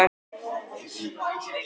Munið þið styðja slíka ríkisstjórn?